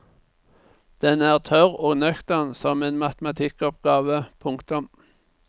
Den er tørr og nøktern som en matematikkoppgave. punktum